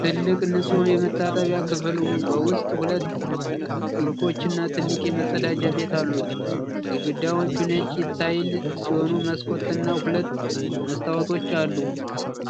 ትልቅ ንጹህ የመታጠቢያ ክፍል በውስጡ ሁለት ሲንኮች እና ትልቅ መጸዳጃ ቤት አሉት። ግድግዳዎቹ ነጭ የታይል ሲሆኑ መስኮት እና ሁለት መስተዋቶች አሉ።